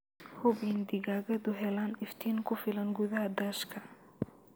Hubi in digaagadu helaan iftiin ku filan gudaha daashka.